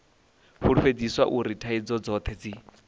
fulufhedziswa uri thaidzo dzothe dzi